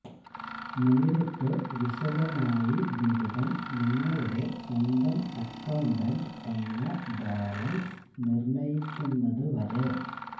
നേരിട്ട് വിശദമായി ബിരുദം നിങ്ങളുടെ സ്വന്തം അക്കൌണ്ടന്റ് എന്ന ബാലൻസ് നിർണ്ണയിക്കുന്നത് വരെ